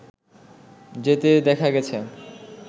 যেতে দেখা গেছে